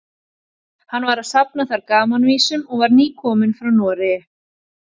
Hann var að safna þar gamanvísum og var nýkominn frá Noregi.